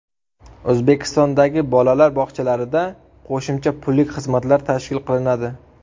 O‘zbekistondagi bolalar bog‘chalarida qo‘shimcha pullik xizmatlar tashkil qilinadi.